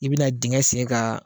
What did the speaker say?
I bɛna dengɛ sen k'a